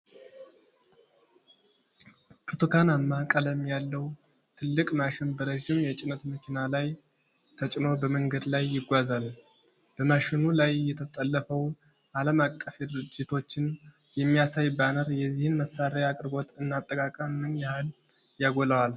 ብርቱካናማ ቀለም ያለው ትልቅ ማሽን በረዥም የጭነት መኪና ላይ ተጭኖ በመንገድ ላይ ይጓዛል። በማሽኑ ላይ የተለጠፈው ዓለም አቀፍ ድርጅቶችን የሚያሳይ ባነር የዚህን መሣሪያ አቅርቦት እና አጠቃቀም ምን ያህል ያጎላዋል?